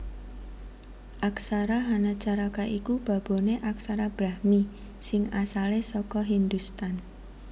Aksara Hanacaraka iku baboné aksara Brahmi sing asalé saka Hindhustan